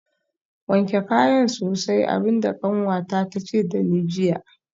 Wanke kayan sosai abin da kanwata ta ce da ni jiya